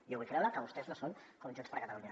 jo vull creure que vostès no són com junts per catalunya